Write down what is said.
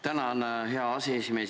Tänan, hea aseesimees!